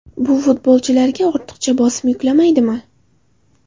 Bu futbolchilarga ortiqcha bosim yuklamaydimi?